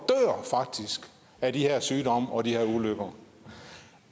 af de her sygdomme og ulykker